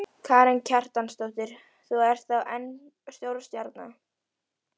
Karen Kjartansdóttir: Þú ert þá enn stórstjarna?